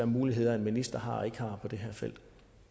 muligheder en minister har og ikke har på det her felt